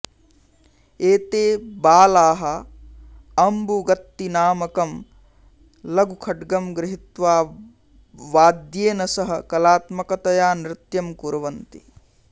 एते बालाः अम्बुगत्तिनामकं लघुखड्गं गृहीत्वा वाद्येन सह कलात्मकतया नृत्यं कुर्वन्ति